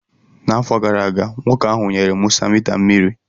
N'afọ gara aga, nwoke ahụ nyere Musa mita mmiri